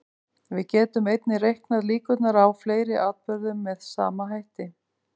Við getum einnig reiknað líkurnar á fleiri atburðum með sama hætti.